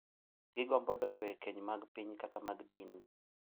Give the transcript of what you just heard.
gigombo donjo e keny mag piny kata mag din,